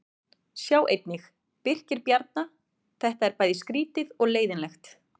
Sjá einnig: Birkir Bjarna: Þetta er bæði skrýtið og leiðinlegt